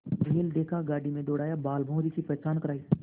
बैल देखा गाड़ी में दौड़ाया बालभौंरी की पहचान करायी